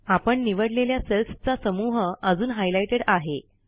आपण निवडलेल्या सेल्सचा समूह अजून हायलाईटेड आहे